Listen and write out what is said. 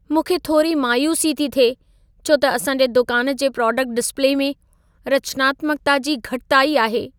मूंखे थोरी मायूसी थी थिए छो त असांजे दुकान जे प्रोडक्ट डिस्प्ले में रचनात्मक्ता जी घटिताई आहे।